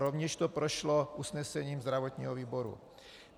Rovněž to prošlo usnesením zdravotního výboru.